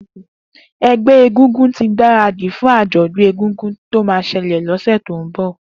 Egbẹ égúngún ti gbárádi fún ájọ̀dún égúngún tó mà ṣẹlẹ lọsẹ tó n bọ